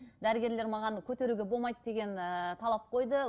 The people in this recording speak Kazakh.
дәрігерлер маған көтеруге болмайды деген ііі талап қойды